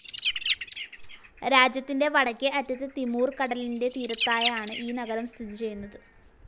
രാജ്യത്തിൻ്റെ വടക്കേ അറ്റത്ത് തിമൂർ കടലിൻ്റെ തീരത്തായാണ് ഈ നഗരം സ്ഥിതി ചെയ്യുന്നത്.